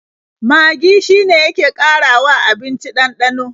Magi shine yake ƙarawa abinci ɗanɗano.